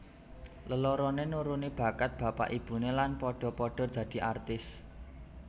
Leloroné nuruni bakat bapak ibuné lan padha padha dadi artis